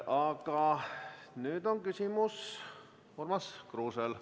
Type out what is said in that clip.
Aga nüüd on küsimus Urmas Kruusel.